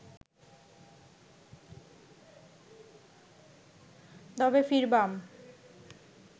তবে ফিরবাম